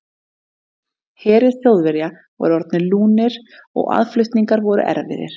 Herir Þjóðverja voru orðnir lúnir og aðflutningar voru erfiðir.